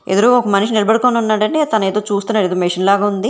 ఎదురుగా ఒక మనిషి నిలబడుకొని ఉన్నాడండి తన ఏదో చూస్తున్నాడు ఏదో మిషన్ లాగా ఉంది.